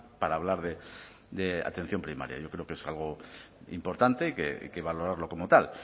para hablar de atención primaria yo creo que es algo importante y que valorarlo como tal